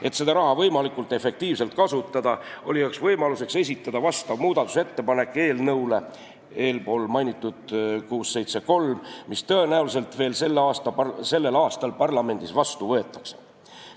Et seda raha võimalikult efektiivselt kasutada, oli üheks võimaluseks esitada muudatusettepanek eespool mainitud eelnõu 673 kohta, mis tõenäoliselt veel sellel aastal parlamendis vastu võetakse.